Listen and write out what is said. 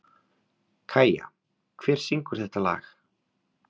Kæja, hver syngur þetta lag?